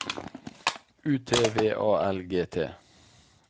U T V A L G T